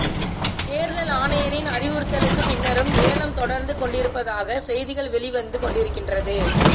தேர்தல் ஆணையரின் அறிவுறுத்தலுக்கு பின்னரும் ஏலம் தொடர்ந்து கொண்டிருப்பதாக செய்திகள் வெளிவந்து கொண்டிருக்கின்றது